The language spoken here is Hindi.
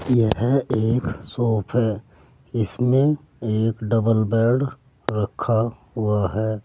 यह एक शॉप है इसमें एक डबल बेड रखा हुआ है।